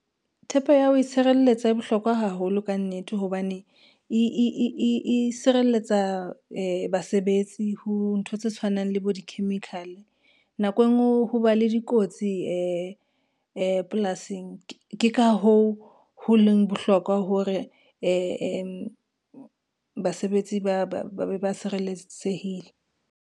Thepe ya ho itshireletsa e bohlokwa haholo ka nnete hobane, e sireletsa basebetsi ho ntho tse tshwanang le bo di-chemical. Nako e ngwe ho ba le dikotsi polasing, ke ka hoo ho leng bohlokwa hore basebetsi ba be ba sireletsehile.